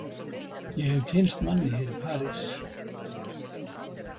Ég hef kynnst manni hér í París.